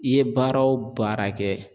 I ye baara wo baara kɛ.